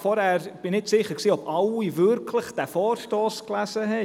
– Ich bin nicht sicher, ob alle diesen Vorstoss gelesen haben.